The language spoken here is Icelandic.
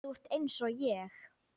Þú ert einsog ég.